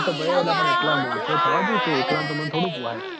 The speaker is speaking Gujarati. એ તો ભાઈ એલા એટલા મોણસોય થવા જોઈએ ન તે એકલા ન તો મન થોડું પોહાય?